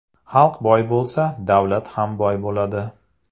Xalq boy bo‘lsa, davlat ham boy bo‘ladi.